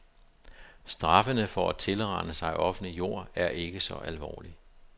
Straffene for at tilrane sig offentlig jord er ikke så alvorlig.